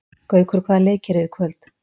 Gaukur, hvaða leikir eru í kvöld?